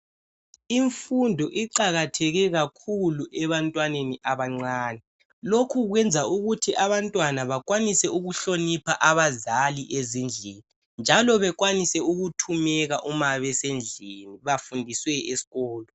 Imfundo iqakatheke kakhulu ebantwaneni abancane. Lokhu kwenza ukuthi abantwana bakwanise ukuhlonipha abazali ezindlini njalo bekwanise ukuthumeka uma besendlini bafundiswe esikolo